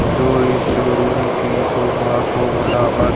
जो इस शोरूम की शोभा को बढ़ावा--